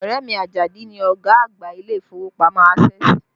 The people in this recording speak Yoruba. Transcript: Ọrẹ mi, Ajadi ni ọ̀gá àgbà ilé ìfowópamọ́ Access